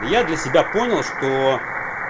я для себя понял что